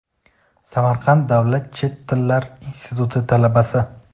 Samarqand davlat chet tillar instituti talabasi:.